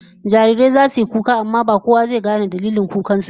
Jarirai zasu yi kuka amma ba kowa zai gane dalilin kukan su ba